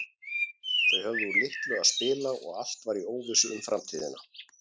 Þau höfðu úr litlu að spila og allt var í óvissu um framtíðina.